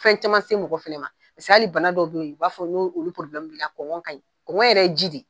Fɛn caman se mɔgɔ fɛnɛ ma, paseke hali bana dɔw don be yen, u b'a fɔ n'olu bali kaɲi kɔngɔ yɛrɛ ye ji de ye.